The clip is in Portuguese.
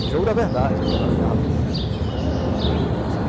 E jogo da verdade, aquela garrafinha rolando.